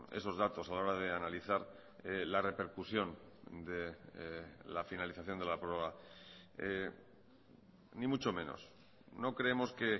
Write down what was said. esos datos a la hora de analizar la repercusión de la finalización de la prórroga ni mucho menos no creemos que